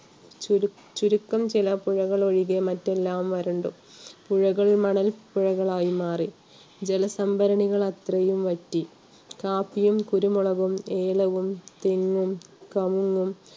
ചുവരു~ചുരുക്കം ചില പുഴകൾ ഒഴികെ മറ്റെല്ലാം വരണ്ടു. പുഴകൾ മണൽ പുഴകൾ ആയി മാറി. ജലസംഭരണികൾ അത്രയും വറ്റി. കാപ്പിയും, കുരുമുളകു, ഏലവും, തെങ്ങും, കവുങ്ങും